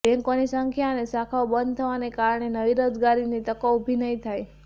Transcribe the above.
બેન્કોની સંખ્યા અને શાખાઓ બંધ થવાના કારણે નવી રોજગારીની તકો ઉભી નહીં થાય